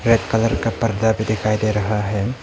Red colour का पर्दा भी दिखाई दे रहा है।